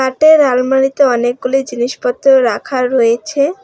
কাটের আলমারিতে অনেকগুলি জিনিসপত্র রাখা রয়েছে।